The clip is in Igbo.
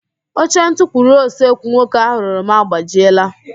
Oche ntukwuru osekwu nwoke ahụ rụrụ m agbajiela